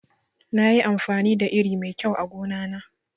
Nayi amfani da iri mai kyau a gona na